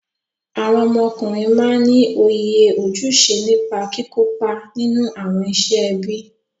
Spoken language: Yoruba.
Awọn ọmọkùnrin máa ní òye ojúṣe nípa kìkópa nínú awọn iṣẹ ẹbí.